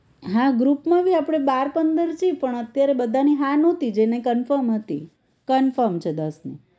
હા group માં ભી આપણે બાર પંદર છી પણ અત્યારે બધાની હા નોતી જેને confirm હતી confirm છે દસ ની